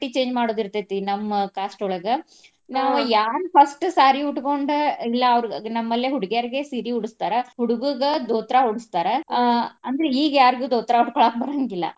ಬಟ್ಟಿ change ಮಾಡೋದ ಇರ್ತೆತಿ ನಮ್ಮ್ caste ಯೊಳಗ ನಾವ ಯಾರ್ first saree ಉಟ್ಕೊಂಡ ಇಲ್ಲಾ ಅವ್ರಗ ನಮ್ಮ್ ಲ್ಲೇ ಹುಡಗ್ಯಾರ್ಗೆ ಸೀರಿ ಉಡಸ್ತಾರ. ಹುಡ್ಗುರ್ಗ ದೋತ್ರಾ ಉಡಸ್ತಾರ ಆಹ್ ಅಂದ್ರೆ ಈಗ್ ಯಾರ್ಗು ದೋತ್ರಾ ಉಟ್ಕೊಳಾಕ ಬರಂಗಿಲ್ಲ .